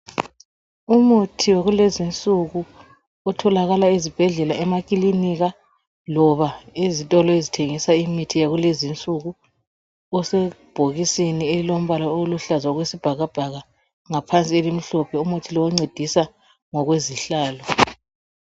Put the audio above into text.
Umuthi wakulezi insuku otholakala ezibhedlela, emakilinika loba ezitolo ezithengisa imithi yakulezi insuku usebhokisini elilombala oluhlaza okwesibhakabhaka ngaphansi elimhlophe. Umuthi lo oncedisa ngokwezihlalo.